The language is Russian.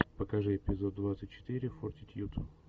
покажи эпизод двадцать четыре фортитьюд